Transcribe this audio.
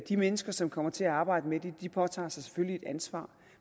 de mennesker som kommer til at arbejde med det påtager sig selvfølgelig et ansvar